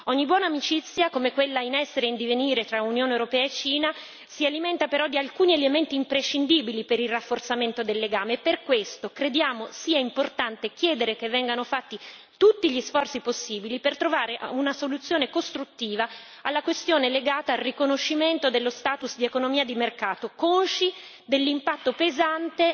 Ogni buona amicizia, come quella in essere e in divenire tra Unione europea e Cina, si alimenta però di alcuni elementi imprescindibili per il rafforzamento del legame, e per questo crediamo sia importante chiedere che vengano fatti tutti gli sforzi possibili per trovare una soluzione costruttiva alla questione legata al riconoscimento dello status di economia di mercato, consci dell'impatto pesante